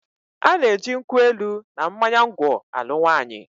A na-eji nkwụ elu na mmanya ngwọ alụ nwaanyị.